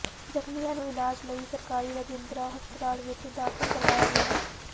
ਜ਼ਖ਼ਮੀਆਂ ਨੂੰ ਇਲਾਜ ਲਈ ਸਰਕਾਰੀ ਰਜਿੰਦਰਾ ਹਸਪਤਾਲ ਵਿਚ ਦਾਖਲ ਕਰਵਾਇਆ ਗਿਆ ਹੈ